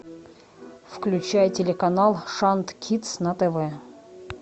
включай телеканал шант кидс на тв